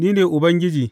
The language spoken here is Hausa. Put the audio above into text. Ni ne Ubangiji.